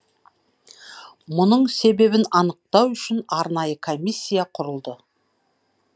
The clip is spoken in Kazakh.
мұның себебін анықтау үшін арнайы комиссия құрылды